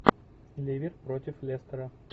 ливер против лестера